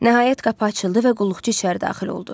Nəhayət qapı açıldı və qulluqçu içəri daxil oldu.